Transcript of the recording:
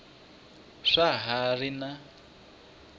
swa ha ri na n